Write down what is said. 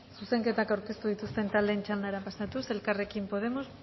zuzenketak aurkeztu dituzten taldeen txandara pasatuz elkarrekin podemos